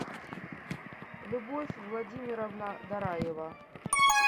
любовь владимировна дораева